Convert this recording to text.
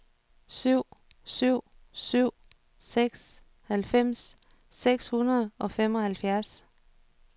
syv syv syv seks halvfems seks hundrede og femoghalvfjerds